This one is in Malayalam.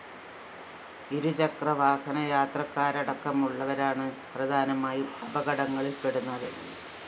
ഇരുചക്രവാഹന യാത്രക്കാരടക്കമുള്ളവരാണ് പ്രധാനമായും അപകടങ്ങളില്‍ പെടുന്നത്